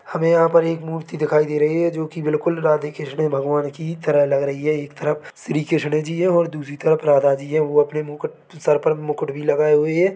हमें यहाँ पर एक मूर्ति दिखाई दे रही है जो की बिल्कुल राधे कृष्ण भगवान की तरह लग रही है एक तरफ श्री कृष्ण जी है और दूसरी तरफ राधा जी है वो अपने मुकुट सर पर मुकुट भी लगाए हुए हैं।